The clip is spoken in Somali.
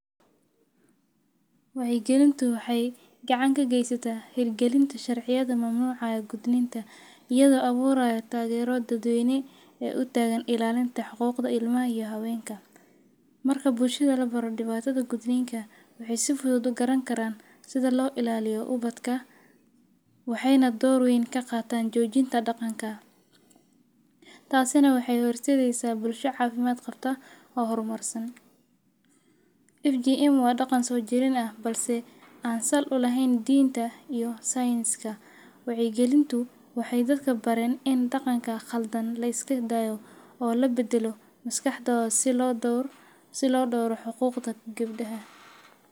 Waxay gelinta waxay gacanka gaysataa hergelinto sharciyada maamulaya gudninta, iyadoo abuuraya taageero daadooyin ee u taagan ilaalinta xuquuqda ilma iyo habeenka. Marka buulshadi la baro dhibaatada guduhinka, wixii si fudud u garan karaan sida loo ilaaliyo ubadka, waxayna door weyn ka qaataan joojinta dhaqanka. Taas ina waxay horeysadeysaa bulsho caafimaad qabto ah horumarsan. FGM waa dhaqan soo jirayna ah balse aansal u lahayn diinta iyo sayniska. Way gelintu waxay dadka baran in dhaqanka khaldan la iska daayo oo la beddelo maskaxdo si loo door si loo dooru xuquuqda gibdhah.